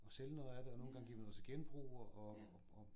Og sælge noget af det og nogen gange giver vi noget til genbrug og